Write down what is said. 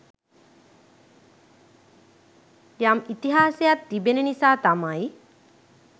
යම් ඉතිහාසයක් තිබෙන නිසා තමයි